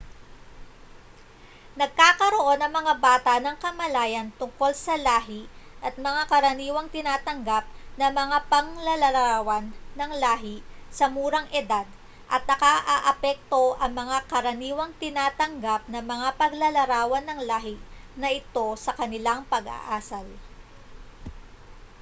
nagkakaroon ang mga bata ng kamalayan tungkol sa lahi at mga karaniwang tinatanggap na mga paglalarawan ng lahi sa murang edad at nakaaapekto ang mga karaniwang tinatanggap na mga paglalarawan ng lahi na ito sa kanilang pag-aasal